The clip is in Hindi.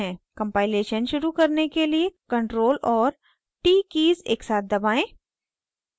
compilation शुरू करने के लिए ctrl और t कीज़ एकसाथ दबाएं